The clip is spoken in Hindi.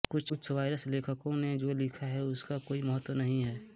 कुछ वायरस लेखकों ने जो लिखा है उसका कोई महत्त्व नहीं है